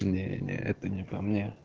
не не это не по мне